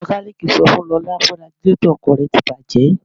Mekaniiki sọ fún Lọ́la pé radíetọ̀ ọkọ̀ rẹ́ ti bàjé.